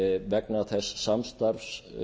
vegna þess samstarfs